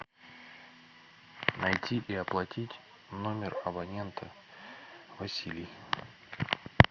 найти и оплатить номер абонента василий